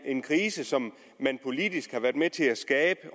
en krise som man politisk har været med til at skabe